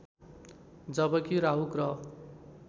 जबकि राहु ग्रह